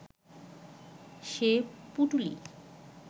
সে পুঁটুলি